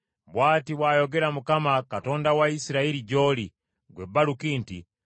“Bw’ati bw’ayogera Mukama , Katonda wa Isirayiri gy’oli, ggwe Baluki nti,